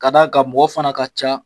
Ka d'a ka mɔgɔ fana ka ca.